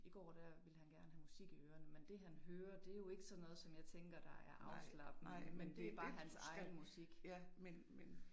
I går der ville han gerne have musik i ørene, men det han hører, det jo ikke sådan noget, som jeg tænker der er afslappende. Det er bare hans egen musik